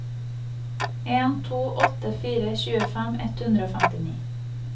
en to åtte fire tjuefem ett hundre og femtini